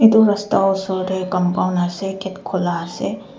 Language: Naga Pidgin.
itu rasta osor teh compound ase gate khola ase.